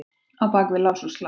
Á bak við lás og slá?